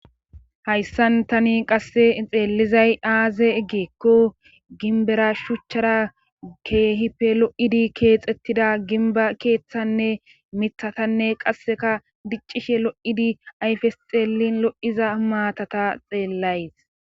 Hayssan tani qasse xeellizay aaze eggeekko ginbera shuchchara geehife lo7idi keexettida ginba keeththanne mithatanne qasseka diccishe lo7idi ayfes xeelin lo7iza maatata xeellays